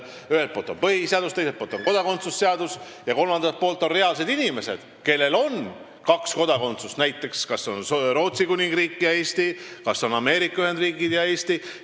Ühelt poolt on põhiseadus, teiselt poolt on kodakondsuse seadus ja kolmandalt poolt reaalsed inimesed, kellel on kaks kodakondsust, näiteks Rootsi Kuningriigi ja Eesti või Ameerika Ühendriikide ja Eesti kodakondsus.